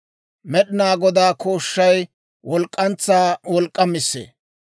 Med'inaa Godaa kooshshay, walk'k'antsaa wolk'k'amissee.